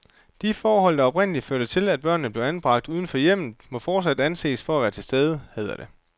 De forhold, der oprindelig førte til, at børnene blev anbragt uden for hjemmet, må fortsat anses for at være til stede, hedder det.